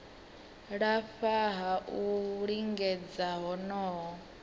lafha ha u lingedza honoho